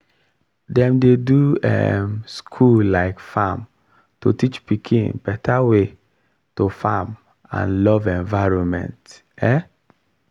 dem dey do um school um farm to teach pikin better way to farm and love environment. um